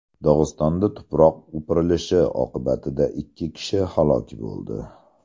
Dog‘istonda tuproq o‘pirilishi oqibatida ikki kishi halok bo‘ldi.